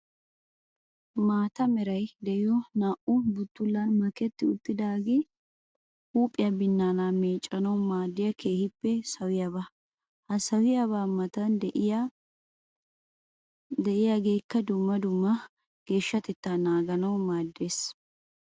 Maata meray de'iyo naa"u butulan maketti uttiddaagee huuphiya binaana meeccanawu maadiya keehippe sawiyaba. Ha sawiyaba matan de'iyaagekka dumma dumma geeshshatetta naaganawu maaddees.